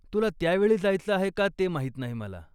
तुला त्या वेळी जायचं आहे का ते माहीत नाही मला.